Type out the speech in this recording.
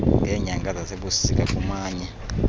ngeenyanga zasebusika kumanye